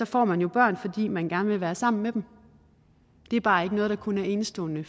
får man jo børn fordi man gerne vil være sammen med dem det er bare ikke noget der kun er enestående